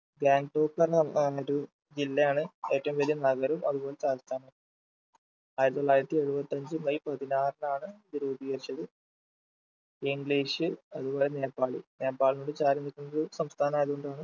ഗാങ്ടോക്ക് എന്ന് ഏർ പറഞ്ഞിട്ട് ഒരു ജില്ലയാണ് ഏറ്റവും വലിയ നഗരം അതുപോലെ ആയിരത്തിത്തൊള്ളായിരത്തി എഴുപത്തഞ്ച് മെയ് പതിനാറിനാണ് ഇത് രൂപീകരിച്ചത് english അതുപോലെ നേപ്പാളി നേപ്പാൾനോട് ചാരി നിൽക്കുന്നൊരു സംസ്ഥാനമായതു കൊണ്ടാണ്